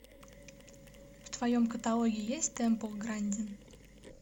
в твоем каталоге есть тэмпл грандин